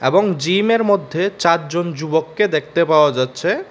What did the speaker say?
এবং জিমের মধ্যে চারজন যুবককে দেখতে পাওয়া যাচ্ছে।